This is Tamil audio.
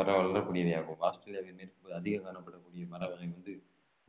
வளரக்கூடியவை ஆகும் ஆஸ்திரேலியாவின் மேற்கு பகுதி அதிகம் காணப்படக்கூடிய